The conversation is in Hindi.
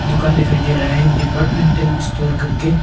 दुकान दिखाई दे रहा है डिपार्टमेंटल स्टोर करके।